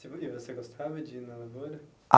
e você gostava de ir na lavoura?